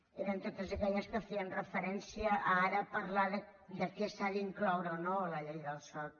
eren totes aquelles que feien referència a ara parlar de què s’ha d’incloure o no a la llei del soc